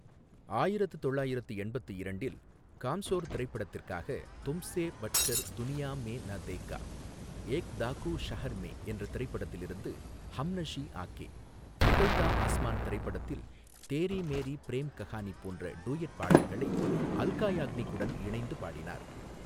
ஆயிரத்து தொள்ளாயிரத்து எண்பத்து இரண்டில் காம்சோர் திரைப்படத்திற்காக "தும்ஸே பட்கர் துனியா மே நா தேகா", ஏக் டாகு ஷஹர் மேய்ன் என்ற திரைப்படத்தில் இருந்து "ஹம்னஷி ஆகே", பிகல்தா ஆஸ்மான் திரைப்படத்தில் தேரி மேரி பிரேம் கஹானி போன்ற டூயட் பாடல்களை அல்கா யாக்னிக்குடன் இணைந்து பாடினார்.